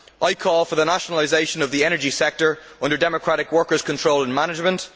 I call for the nationalisation of the energy sector under democratic worker control and management.